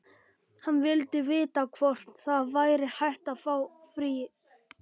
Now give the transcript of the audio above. Hann vildi vita hvort það væri hægt að fá frið.